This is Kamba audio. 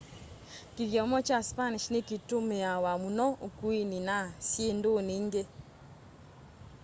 kithyomo kya spanish ni kitũmiawa mũno ukũini na syindũni ingi